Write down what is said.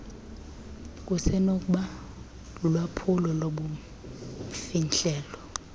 kusenokuba lulwaphulo lobumfihlelo